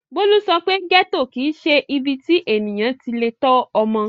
Bólú sọ pé gẹ́tò kì í ṣe ibi tí ènìyàn ti le tọ́ ọmọ.